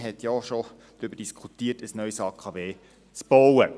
Man hatte auch schon darüber diskutiert, ein neues AKW zu bauen.